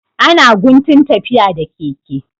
Ana guntun tafiya da keke.